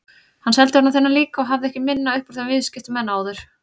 Ég seldi honum þennan líka og hafði ekki minna upp úr þeim viðskiptum en áður.